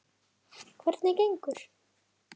Guðrún: Hvernig gengur?